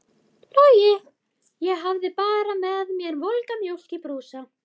Ég hafði bara með mér volga mjólk í brúsa.